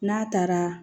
N'a taara